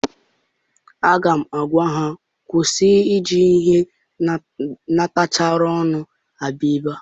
Aga m agwa ha kwụsị I ji ihe ntachari ọnụ abịa ebe!